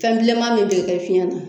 Fɛn bilenman min bɛ kɛ fiɲɛ na